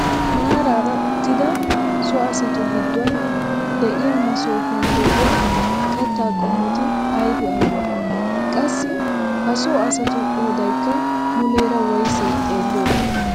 Maraara uttida so asatu gidduwaan de'iyaa masoopiyaan de'iyaa kattaa qomoti aybee aybee? Qassi ha so asatu qoodaykka muleera woysee xeelliyoodee?